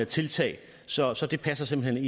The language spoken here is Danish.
tiltag så så det passer simpelt